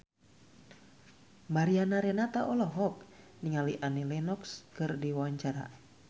Mariana Renata olohok ningali Annie Lenox keur diwawancara